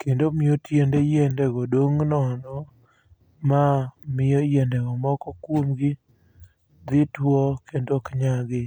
kendo omiyo tiende yiendego dong' nono. Ma miyo yiendego moko kuomgi dhi tuo kendo ok yagi.